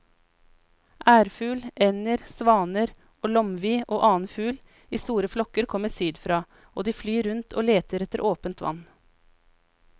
Ærfugl, ender, svaner, lomvi og annen fugl i store flokker kommer sydfra og de flyr rundt og leter etter åpent vann.